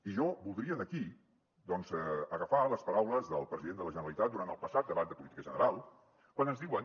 i jo voldria aquí doncs agafar les paraules del president de la generalitat durant el passat debat de política general quan ens diuen